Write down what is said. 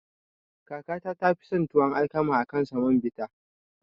Kakana tafi son tuwon alkama akan na samobita.